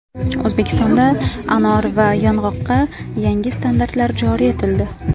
O‘zbekistonda anor va yong‘oqqa yangi standartlar joriy etildi.